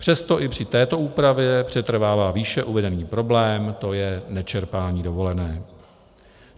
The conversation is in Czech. Přesto i při této úpravě přetrvává výše uvedený problém, to je nečerpání dovolené.